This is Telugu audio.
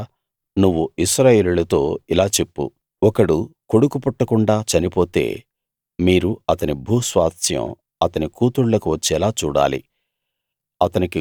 ఇంకా నువ్వు ఇశ్రాయేలీయులతో ఇలా చెప్పు ఒకడు కొడుకు పుట్టకుండా చనిపోతే మీరు అతని భూస్వాస్థ్యం అతని కూతుళ్ళకు వచ్చేలా చూడాలి